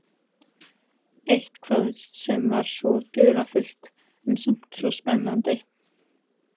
Eitthvað sem var svo dularfullt en samt svo spennandi.